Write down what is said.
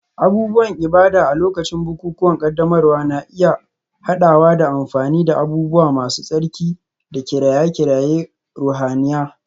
Abubuwan ibada a lokacin bukukuwan ƙaddamarwa na iya haɗawa da amfani da abubuwa masu tsarki da kiraye-kirayen ruhaniya.